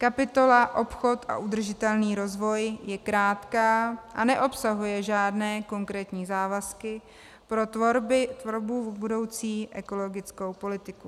Kapitola Obchod a udržitelný rozvoj je krátká a neobsahuje žádné konkrétní závazky pro tvorbu budoucí ekologické politiky.